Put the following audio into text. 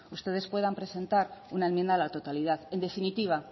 ustedes puedan presentar una enmienda a la totalidad en definitiva